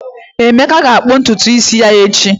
Emeka ga-akpụ ntutu isi ya echi